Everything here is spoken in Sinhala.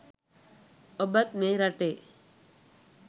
ඔබත් මේ රටේ